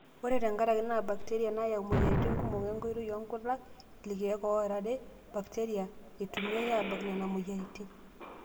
Ore tenkaraki naa bakteria nayau moyiaritin kumok enkoitoi oonkulak ,ilkeek oorare bakteria eitumiyai aabak nena moyiaritin.